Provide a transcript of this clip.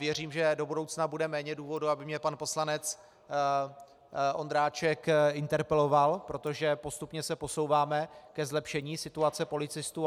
Věřím, že do budoucna bude méně důvodů, aby mě pan poslanec Ondráček interpeloval, protože postupně se posouváme ke zlepšení situace policistů.